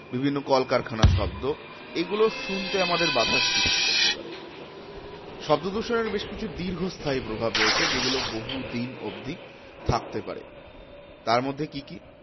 বিভিন্ন কলকারখানার শব্দ এগুলো শুনতে আমাদের বাধার সৃষ্টি করতে পারে। শব্দদূষণের বেশ কিছু দীর্ঘস্থায়ী প্রভাব রয়েছে যেগুলো বহু দিন অব্দি থাকতে পারে। তারমধ্যে কি কি?